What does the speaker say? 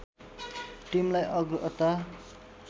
टिमलाई अग्रता